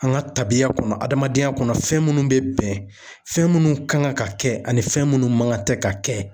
An ka tabiya kɔnɔ ,adamadenya kɔnɔ ,fɛn minnu bɛ bɛn fɛn munnu kan ka kɛ ani fɛn minnu man ka ka kɛ.